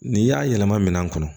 N'i y'a yɛlɛma minɛn kɔnɔ